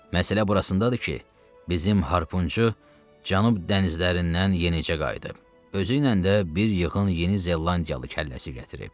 Məsələ burasındadır ki, bizim harpunçu Cənub dənizlərindən yenicə qayıdıb, özüylə də bir yığın Yeni Zelandiyalı kəlləsi gətirib.